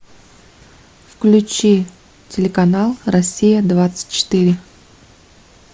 включи телеканал россия двадцать четыре